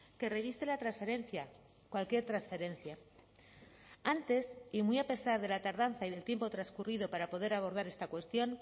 que reviste la transferencia cualquier transferencia antes y muy a pesar de la tardanza y del tiempo transcurrido para poder abordar esta cuestión